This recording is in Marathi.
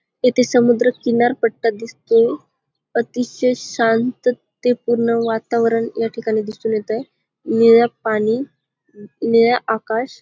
इथे समुद्र किनार पट्टा दिसतो अतिशय शांतता पूर्ण वातावरण याठिकाणी दिसून येतंय नीळ पाणी अ नीळ आकाश --